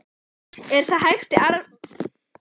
Er það hægt í árferðinu sem er í dag?